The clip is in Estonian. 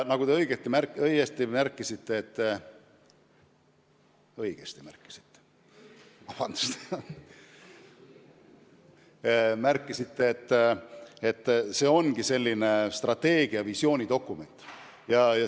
Nagu te õigesti märkisite, see on selline strateegiavisiooni dokument.